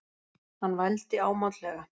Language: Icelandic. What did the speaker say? Hann vældi ámátlega.